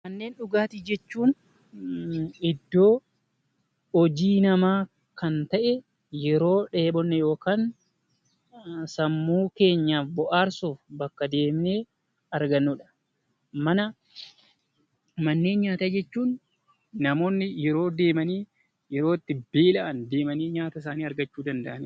Manneen dhugaatii jechuun iddoo hojii namaa kan ta'e yeroo dheebonne yookaan sammuu keenya bohaarsuuf bakka deemnee argannudha. Manneen nyaataa jechuun namoonni yeroo deemanii nyaata isaanii argachuu danda'anidha